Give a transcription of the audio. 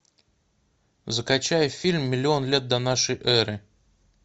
закачай фильм миллион лет до нашей эры